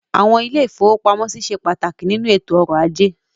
Àwọn ilé-ìfowópamọ́sí ṣe pàtàkì nínú ètò ọrọ̀ ajé.